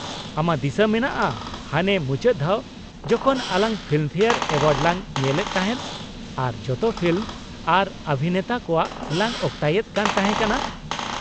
ᱟᱢᱟᱜ ᱫᱤᱥᱟᱹ ᱢᱮᱱᱟᱜᱼᱟ ᱦᱟᱱᱮ ᱢᱩᱪᱟ.ᱫ ᱫᱷᱟᱣ ᱡᱚᱠᱷᱚᱱ ᱟᱞᱟᱝ ᱯᱷᱤᱞᱢ ᱯᱷᱮᱭᱟᱨ ᱮᱣᱟᱨᱰ ᱞᱟᱝ ᱧᱮᱞ ᱮᱫ ᱛᱟᱦᱮᱸᱫ ᱟᱨ ᱡᱚᱛᱚ ᱯᱷᱤᱞᱢ ᱟᱨ ᱚᱵᱷᱤᱱᱮᱛᱟ ᱠᱚᱣᱟᱜ ᱞᱟᱝ ᱚᱠᱛᱟᱭᱮᱫ ᱠᱟᱱ ᱛᱟᱦᱮᱸ ᱠᱟᱱᱟ ᱾